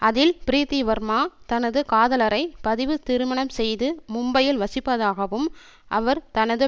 அதில் ப்ரீத்தி வர்மா தனது காதலரை பதிவு திருமணம் செய்து மும்பையில் வசிப்பதாகவும் அவர் தனது